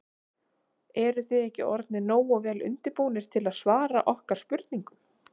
Eruð þið ekki orðnir nógu vel undirbúnir til að svara okkar spurningum?